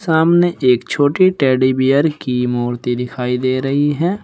सामने एक छोटी टेडी बियर की मूर्ति दिखाई दे रही है।